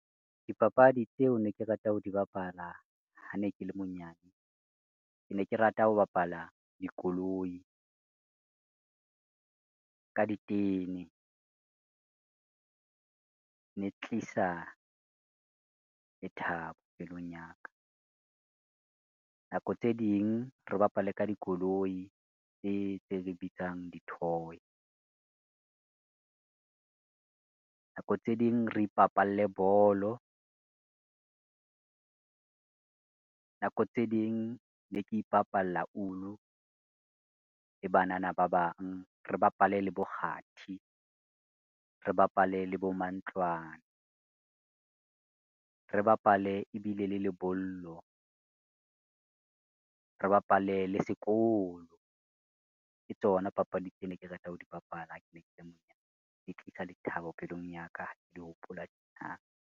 Dipapadi tseo ne ke rata ho di bapala ha ne ke le monyane, ke ne ke rata ho bapala dikoloi, ka ditene, ne tlisa lethabo pelong ya ka. Nako tse ding re bapale ka dikoloi tse tse re bitsang di-toy. Nako tse ding re ipapalle bolo, nako tse ding ne ke ipapalla ulu le banana ba bang, re bapale le bo kgathi, re bapale le bo mantlwane, re bapale ebile le lebollo. Re bapale le sekolo, ke tsona papadi tsene ke rata ho di bapala ha ke ne ke le monyane, di tlisa lethabo pelong ya ka ha ke di hopola .